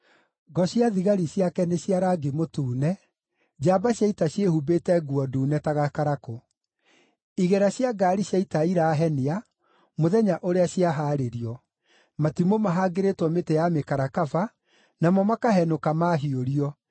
Ngo cia thigari ciake nĩ cia rangi mũtune, njamba cia ita ciĩhumbĩte nguo ndune ta gakarakũ. Igera cia ngaari cia ita irahenia mũthenya ũrĩa ciahaarĩrio; matimũ mahangĩrĩtwo mĩtĩ ya mĩkarakaba namo makahenũka maahiũrio.